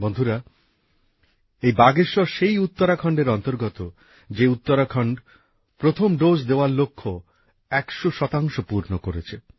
বন্ধুরা এই বাগেশ্বর সেই উত্তরাখণ্ডের অন্তর্গত যে উত্তরাখণ্ড প্রথম ডোজ দেওয়ার লক্ষ্য একশো শতাংশ পূর্ণ করেছে